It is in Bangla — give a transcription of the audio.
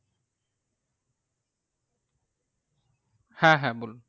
হ্যাঁ হ্যাঁ বলুন,